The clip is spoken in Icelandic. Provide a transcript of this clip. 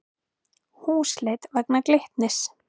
Húsleit vegna Glitnis